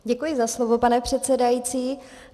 Děkuji za slovo, pane předsedající.